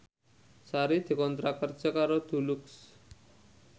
Sari dikontrak kerja karo Dulux